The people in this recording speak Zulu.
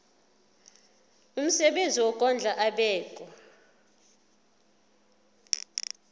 umsebenzi wokondla ubekwa